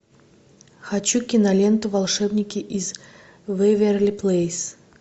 хочу киноленту волшебники из вэйверли плэйс